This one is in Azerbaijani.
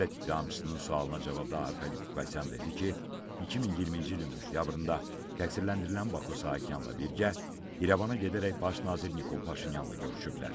Dövlət ittihamçısının sualına cavabda Arkadi Qukasyan dedi ki, 2020-ci ilin oktyabrında təqsirləndirilən Bako Saakyanla birgə İrəvana gedərək baş nazir Nikol Paşinyanla görüşüblər.